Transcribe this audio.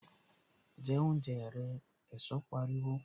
Jẹ oúnjẹ rẹ! Ẹ̀sọ́ pariwo